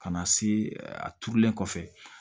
Ka na se a turulen kɔfɛ